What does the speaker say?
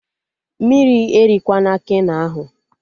Mmiri erikwana Keno ahụ!